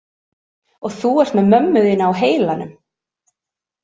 Og þú ert með mömmu þína á heilanum.